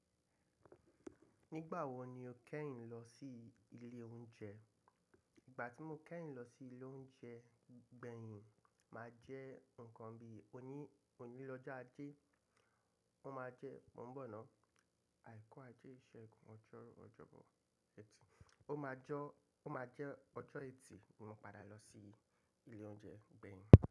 Nígbà wo ni o yẹ́rìn lọ sí ilé oúnjẹ? Ìgbà tí mo yẹ́rìn lọ sí ilé oúnjẹ gbẹ̀yìn máa jẹ́ nǹkan bí oní-oní lọ́jo Ajé. Ó máa jẹ́, mò ń bọ̀ náà. Àìkú Ajé, ìṣẹ́gun, ọjọ́rú, ọjọ́bọ, ẹ̀tì. Ó máa jọ, ó máa jẹ́ ọjọ́ ẹtì ni mo padà lọ sí ilé oúnjẹ gbẹ̀yìn.